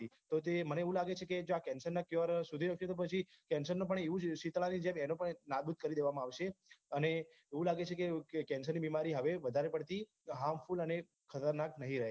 મને એવું લાગે છે કે જો આ cancer ના cure શોધી શક્સે તો પછી cancer ને એવું જ સીતળા ની જેમ નાબુદ કરી દેવામાં આવશે અને એવું લાગે છે કે cancer ની બીમારી હવે વધારે પડતી harmful અને ખતરનાક નહી રહે